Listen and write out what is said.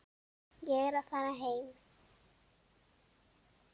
Ég er að fara heim.